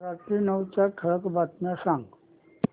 रात्री नऊच्या ठळक बातम्या सांग